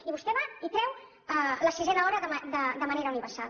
i vostè va i treu la sisena hora de manera universal